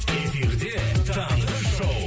эфирде таңғы шоу